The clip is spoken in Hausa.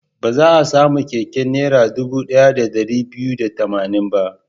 Ba za a sami keken Naira dubu ɗaya da ɗari biyu da tamanin ba.